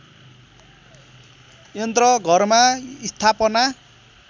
यन्त्र घरमा स्थापना